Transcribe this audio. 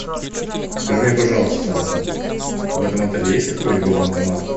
скажи мне пожалуйста в этом отеле есть какой либо банкомат